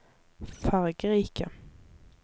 fargerike